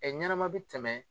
ɲɛnama bɛ tɛmɛ